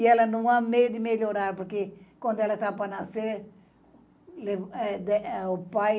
E ela não há medo de melhorar, porque quando ela estava para nascer, o pai